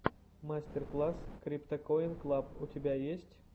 мастер класс криптакоин клаб у тебя есть